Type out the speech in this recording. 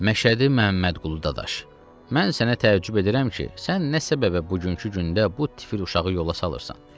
Məşədi Məhəmmədqulu Dadaş, mən sənə təəccüb edirəm ki, sən nə səbəbə bugünkü gündə bu tifil uşağı yola salırsan?